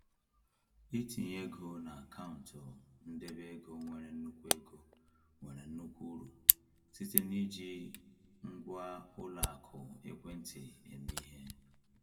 Itinye ego n’akaụntụ ndebe ego nwere nnukwu ego nwere nnukwu uru site n’iji ngwa ụlọ akụ ekwentị eme ihe.